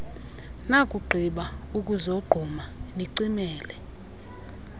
nakugqiba ukuzogquma nicimele